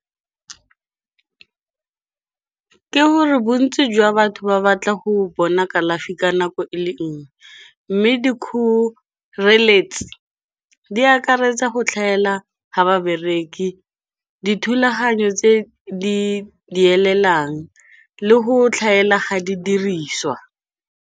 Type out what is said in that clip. Ke gore bontsi jwa batho ba batla go bona kalafi ka nako e le nngwe, mme dikgoreletsi di akaretsa go tlhaela ga babereki, dithulaganyo tse di elelang le go tlhaela ga di diriswa.